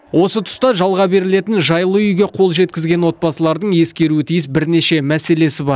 осы тұста жалға берілетін жайлы үйге қол жеткізген отбасылардың ескеруі тиіс бірнеше мәселесі бар